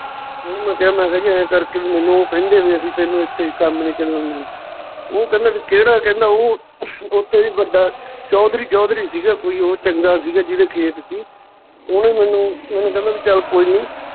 ਉਹਨੂੰ ਮੈਂ ਕਿਹਾ ਮੈਂ ਕਿਹਾ ਜੀ ਇਉਂ ਕਰਕੇ ਵੀ ਮੈਨੂੰ ਉਹ ਕਹਿੰਦੇ ਵੀ ਅਸੀਂ ਤੈਨੂੰ ਏਥੇ ਕੰਮ ਨੀ ਚੱਲਣ ਦੇਣਾ ਓਹ ਕਹਿੰਦੇ ਵੀ ਕਿਹੜਾ ਕਹਿੰਦਾ ਓਹ ਉਹ ਤੋਂ ਵੀ ਵੱਡਾ ਚੌਧਰੀ ਚੌਧਰੀ ਸੀਗਾ ਕੋਈ ਓਹ ਚੰਗਾ ਸੀ ਜਿਹਦੇ ਖੇਤ ਸੀ, ਓਹਨੇ ਮੈਨੂੰ ਮੈਨੂੰ ਕਹਿੰਦਾ ਵੀ ਚੱਲ ਕੋਈ ਨੀ,